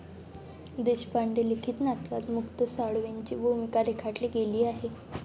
देशपांडे लिखित नाटकात मुक्त साळवेंची भूमिका रेखाटली गेली आहे.